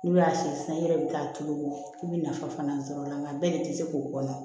N'u y'a si san i yɛrɛ bɛ taa tulu i bɛ nafa fana sɔrɔ a la nka bɛɛ de tɛ se k'o kɔnɔ